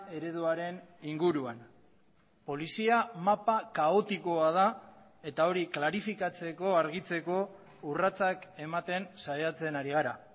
ereduaren inguruan polizia mapa kaotikoa da eta hori klarifikatzeko argitzeko urratsak ematen saiatzen ari gara